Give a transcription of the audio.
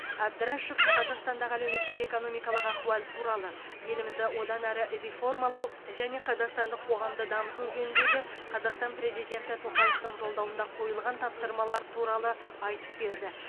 әбдрашов қазақстандағы әлеуметтік экономикалық ахуал туралы елімізді одан әрі реформалау және қазақстандық қоғамды дамыту жөніндегі қазақстан президенті тоқаевтың жолдауында қойылған тапсырмалар туралы айтып берді